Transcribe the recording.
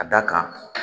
Ka da kan